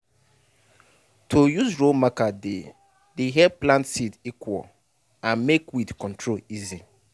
to use row marker dey dey help plant seed equal and make weed control easy